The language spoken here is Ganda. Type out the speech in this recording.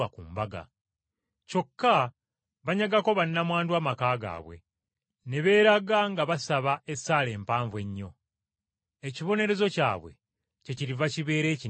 Kyokka, banyagako bannamwandu ebintu byabwe, ne beeraga nga basaba esaala empanvu ennyo. Ekibonerezo kyabwe kyekiriva kibeera ekinene ddala.”